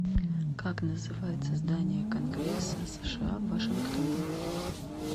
как называется здание конгресса сша в вашингтоне